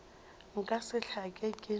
nka se hlake ke na